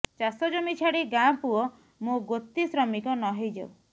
ଚାଷ ଜମି ଛାଡ଼ି ଗାଁ ପୁଅ ମୋ ଗୋତି ଶ୍ରମିକ ନ ହେଇ ଯାଉ